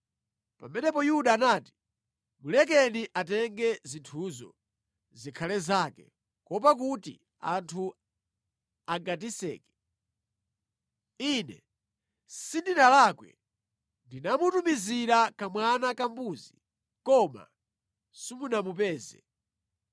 Pamenepo Yuda anati, “Mulekeni atenge zinthuzo zikhale zake, kuopa kuti anthu angatiseke. Ine sindinalakwe, ndinamutumizira kamwana kambuzika, koma simunamupeze.”